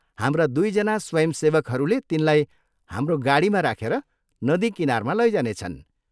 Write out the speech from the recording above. हाम्रा दुईजना स्वयंसेवकहरूले तिनलाई हाम्रो गाडीमा राखेर नदी किनारमा लैजानेछन्।